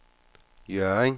Hjørring